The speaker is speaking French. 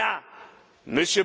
une chose